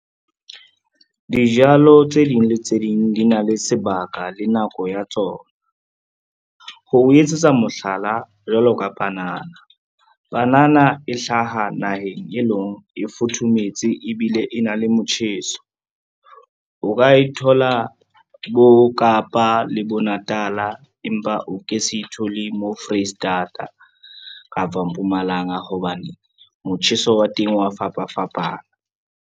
Dijalo tse ding le tse ding di na le sebaka le nako ya tsona. Ho etsetsa mohlala, jwalo ka panana, panana e hlaha naheng e leng e futhumetse ebile e na le motjheso. O ka e thola bo Kapa le bo Natala, empa o ke se thole mo Foreisetata kapa o Mpumalanga hobane motjheso wa teng wa fapafapana.